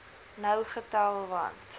nou getel want